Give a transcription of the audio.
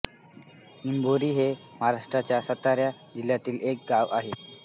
निंभोरे हे महाराष्ट्राच्या सातारा जिल्ह्यातील एक गाव आहे